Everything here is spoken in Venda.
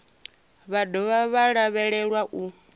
vha dovha vha lavhelelwa u